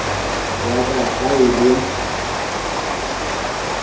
ya ka ha e le